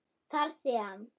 þar sem